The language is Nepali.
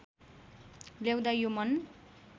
ल्याउँदा यो मन